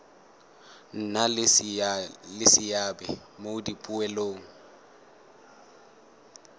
nna le seabe mo dipoelong